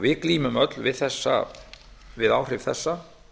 við glímum öll við áhrif þessa